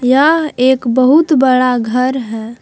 यह एक बहुत बड़ा घर है।